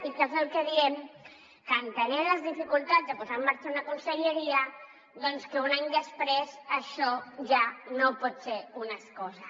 i què és el que diem que entenent les dificultats de posar en marxa una conselleria doncs que un any després això ja no pot ser una excusa